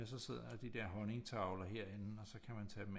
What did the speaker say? Så sidder de der honningtavler herinde og så kan man tage dem